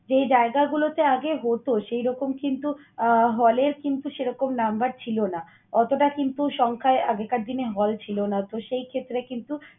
যেই জায়গাগুলোতে আগে হত সেইরকম কিন্তু আহ hall এর কিন্তু সেরকম number ছিল না। অতটা কিন্তু সংখ্যায় আগেকার দিনে hall ছিল না। তো, সেই ক্ষেত্রে কিন্তু